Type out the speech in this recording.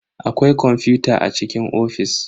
Akwai kwamfuta a cikin ofis.